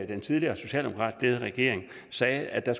den tidligere socialdemokratisk ledede regering sagde at der